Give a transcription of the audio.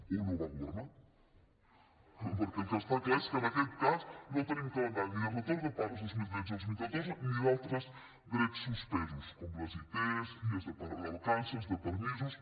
o no va governar perquè el que està clar és que en aquest cas no tenim calendari ni de retorn de pagues vint milions cent i trenta dos mil catorze ni d’altres drets suspesos com les it dies vacances de permisos